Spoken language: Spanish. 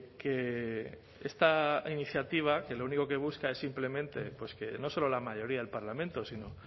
que esta iniciativa que lo único que busca es simplemente que no solo la mayoría del parlamento si no